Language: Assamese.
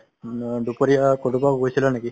দুপৰীয়া কটোবা গৈছিলা নেকি?